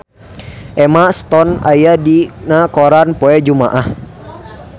Emma Stone aya dina koran poe Jumaah